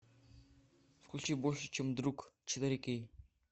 включи больше чем друг четыре кей